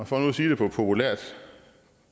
for nu at sige det på populært